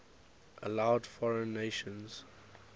allowed foreign nations